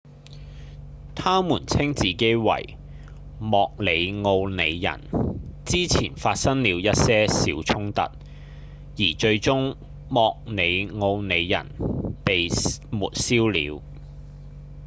它們稱自己為莫里奧里人之前發生了一些小衝突而最終莫里奧里人被抹消了